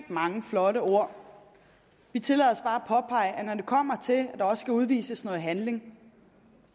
mange flotte ord vi tillader os bare at påpege at når det kommer til at der også skal udvises noget handling